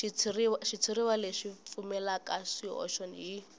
xitshuriwa lexi pfumalaka swihoxo hi